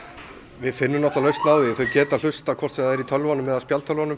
við finnum lausn á því þau geta hlustað hvort sem það er í tölvunum eða spjaldtölvunum